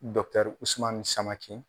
Usumani samake.